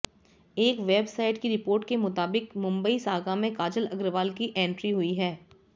एक वेबसाइट की रिपोर्ट के मुताबिक मुंबई सागा में काजल अग्रवाल की एंट्री हुई है